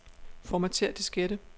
Formatér diskette.